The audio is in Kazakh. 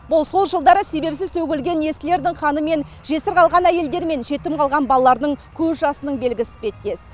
бұл сол жылдары себепсіз төгілген есіл ердің қаны мен жесір қалған әйелдің жетім қалған баланың көз жасының белгісі іспеттес